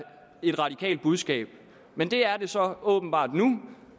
et radikalt budskab men det er det så åbenbart nu